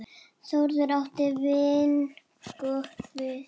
Þórður átti vingott við.